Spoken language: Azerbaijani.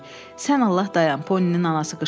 Sən Allah dayan, Poninin anası qışqırdı.